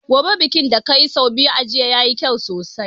Goge bakin ka da ka yi sau biyu a jiya, ya yi kyau sosai.